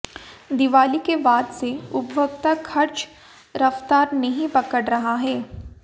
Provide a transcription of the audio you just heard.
दीवाली के बाद से उपभोक्ता खर्च रफ्तार नहीं पकड़ रहा है